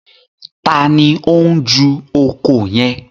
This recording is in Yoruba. Taàní ó ń ju oko yẹn?